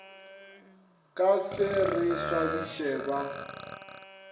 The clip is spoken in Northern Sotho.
ka se re swabiše ba